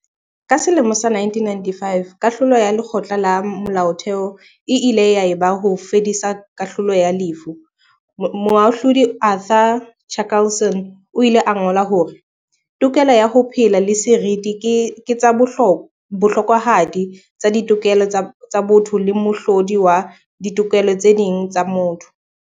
Ka selemo sa 1995 kahlolo ya Lekgotla la Molaotheo e ile ya e ba ho fedisa kahlolo ya lefu, Moahlodi Arthur Chaskalson o ile a ngola hore, "Tokelo ya ho phela le seriti ke tsa bohlokwahadi tsa ditokelo tsa botho le mohlodi wa ditokelo tse ding tsa motho."